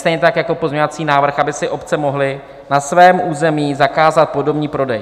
Stejně tak jako pozměňovací návrh, aby si obce mohly na svém území zakázat podomní prodej.